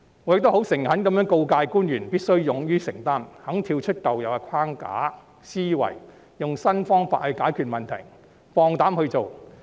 我亦誠懇地告誡官員必須勇於承擔，願意跳出舊有框架和思維，用新方法解決問題，放膽去做。